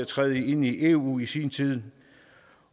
træde ind i eu i sin tid